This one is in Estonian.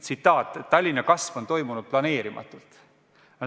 Tsitaat: "Tallinna kasv on toimunud planeerimatult.